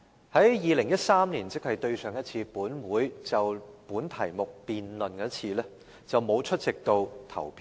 在2013年，即本會上一次就這個議題進行辯論時，她沒有出席投票。